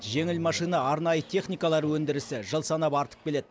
жеңіл машина арнайы техникалар өндірісі жыл санап артып келеді